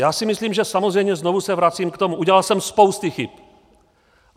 Já si myslím, že, samozřejmě znovu se vracím k tomu, udělal jsem spousty chyb.